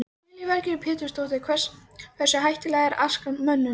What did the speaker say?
Lillý Valgerður Pétursdóttir: Hversu hættuleg er askan mönnum?